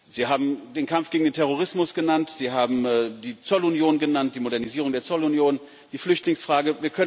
Sie haben den Kampf gegen den Terrorismus genannt, Sie haben die Zollunion genannt, die Modernisierung der Zollunion, die Flüchtlingsfrage